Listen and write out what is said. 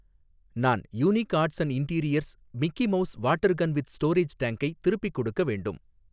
நான் unique arts and interiors Mickey Mouse water gun with storage டேங்க்கை திருப்பிக் கொடுக்க வேண்டும்